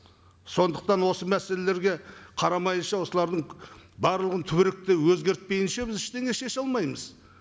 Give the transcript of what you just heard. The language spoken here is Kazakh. сондықтан осы мәселелерге қарамайынша осылардың барлығын түбіректі өзгертпейінше біз ештеңе шеше алмаймыз